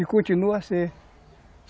E continua a ser.